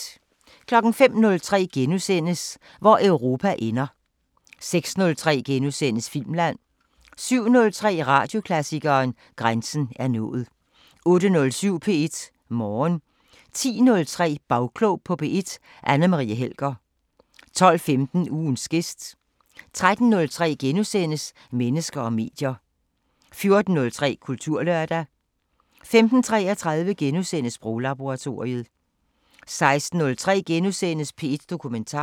05:03: Hvor Europa ender * 06:03: Filmland * 07:03: Radioklassikeren: Grænsen er nået 08:07: P1 Morgen 10:03: Bagklog på P1: Anne Marie Helger 12:15: Ugens gæst 13:03: Mennesker og medier * 14:03: Kulturlørdag 15:33: Sproglaboratoriet * 16:03: P1 Dokumentar *